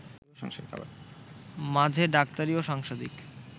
মাঝে ডাক্তারি ও সাংসারিক